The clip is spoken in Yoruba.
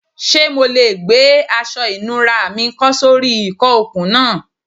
Ṣe MO le gbe aṣọ ìnura mi kọ́ sori ìkọ okun naa